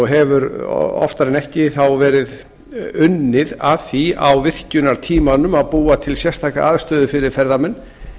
hefur oftar en ekki þá verið unnið að því á virkjunartímanum að búa til sérstaka aðstöðu fyrir ferðamenn